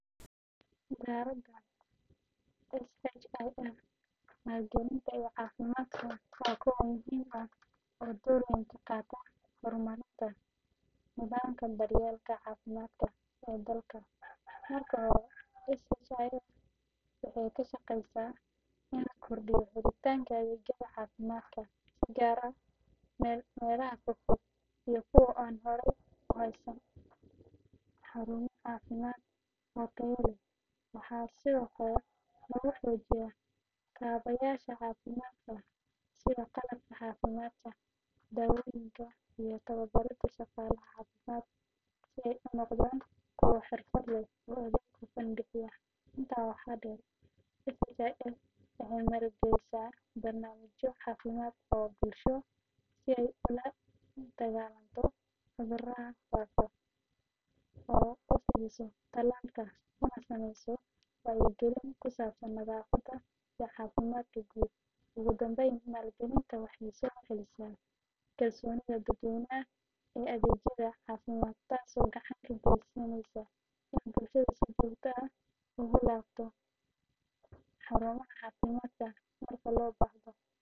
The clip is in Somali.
Dararada SHIF maalgelinta ee caafimaadka waa kuwo muhiim ah oo door weyn ka qaata horumarinta nidaamka daryeelka caafimaadka ee dalka. Marka hore, SHIF waxay ka shaqaysaa in la kordhiyo helitaanka adeegyada caafimaadka, si gaar ah meelaha fogfog iyo kuwa aan horey u haysan xarumo caafimaad oo tayo leh. Waxaa sidoo kale lagu xoojiyaa kaabayaasha caafimaadka sida qalabka caafimaad, daawooyinka, iyo tababarida shaqaalaha caafimaad si ay u noqdaan kuwo xirfad leh oo adeeg hufan bixiya. Intaa waxaa dheer, SHIF waxay maalgelisaa barnaamijyo caafimaad oo bulsho si ay ula dagaalanto cudurrada faafa, u fidiso tallaalka, una sameyso wacyigelin ku saabsan nadaafadda iyo caafimaadka guud. Ugu dambeyn, maalgelintan waxay soo celisaa kalsoonida dadweynaha ee adeegyada caafimaad, taasoo gacan ka geysaneysa in bulshadu si joogto ah ugu laabato xarumaha caafimaadka marka loo baahdo.